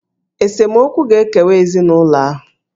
Esemokwu ga-ekewa ezinụlọ ahụ.